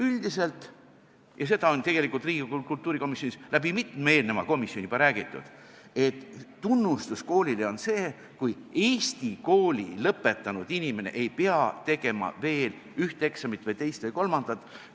Üldiselt – ja seda on Riigikogu kultuurikomisjonis juba mitmes eelnevas koosseisus räägitud – tunnustus koolile on see, kui Eesti kooli lõpetanud inimene ei pea tegema veel ühte eksamit või teist ja kolmandat.